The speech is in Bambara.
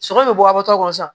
Sɔrɔ bɛ bɔ a bɔtɔ sa